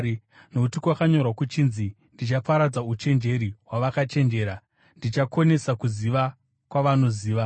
Nokuti kwakanyorwa kuchinzi: “Ndichaparadza uchenjeri hwavakachenjera; ndichakonesa kuziva kwavanoziva.”